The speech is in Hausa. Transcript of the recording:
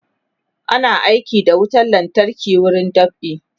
ana aiki da wutan lantarki a wurin dab'i